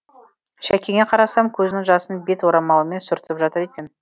шәкеңе қарасам көзінің жасын бет орамалымен сүртіп жатыр екен